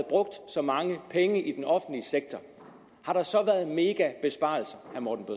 brugt så mange penge i den offentlige sektor har der så været megabesparelser